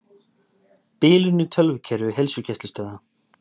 Bilun í tölvukerfi heilsugæslustöðva